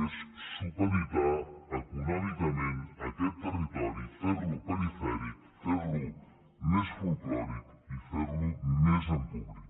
és supeditar econòmicament aquest territori fer lo perifèric fer lo més folklòric i fer lo més empobrit